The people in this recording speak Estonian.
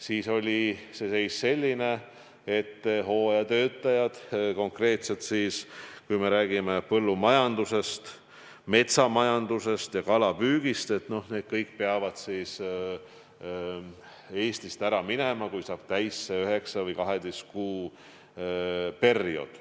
Siis oli see seis selline, et kõik hooajatöötajad – konkreetselt rääkides põllumajandusest, metsamajandusest või kalapüügist – peavad Eestist ära minema siis, kui saab täis 9 või 12 kuu periood.